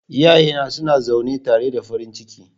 Iyayena suna zaune tare da farin ciki.